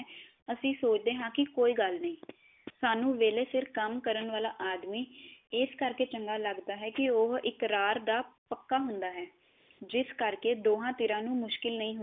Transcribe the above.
ਅਸੀਂ ਸੋਚਦੇ ਹ ਕੀ ਕੋਈ ਗਲ ਨਹੀ ਸਾਨੂੰ ਵੇਲੇ ਸਿਰ ਕੰਮ ਕਰਨ ਵਾਲਾ ਆਦਮੀ ਇਸ ਕਰਕੇ ਚੰਗਾ ਲਗਦਾ ਹੈ ਕੀ ਓਹ ਇਕਰਾਰ ਦਾ ਪੱਕਾ ਹੁੰਦਾ ਹੈ ਜਿਸ ਕਰਕੇ ਦੋਹਾ ਧਿਰਾਂ ਨੂੰ ਮੁਸ਼ਕਿਲ ਨਹੀ ਹੁੰਦੀ